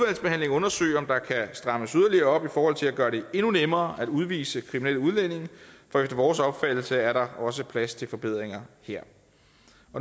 undersøge om der kan strammes yderligere op i forhold til at gøre det endnu nemmere at udvise kriminelle udlændinge for efter vores opfattelse er der også plads til forbedringer her